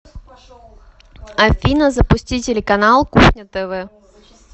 афина запусти телеканал кухня тв